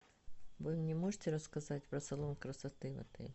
вы мне можете рассказать про салон красоты в отеле